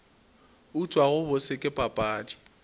utswa go bose ke papadi